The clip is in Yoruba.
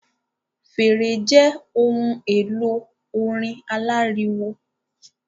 Fèrè jẹ ohùn èlò orin aláriwo